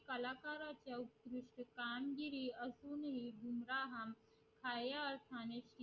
कलाकारांची कामगिरी असून हि